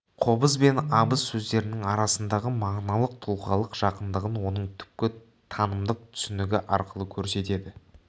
қобыз бен абыз сөздерінің арасындағы мағыналық тұлғалық жақындығын оның түпкі танымдық түсінігі арқылы көрсетеді